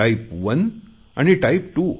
type 1 आणि type 2